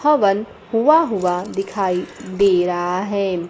हवन हुवा हुआ दिखाई दे रहा है।